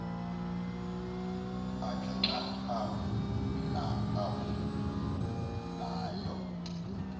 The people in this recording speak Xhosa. akhe xa avulayo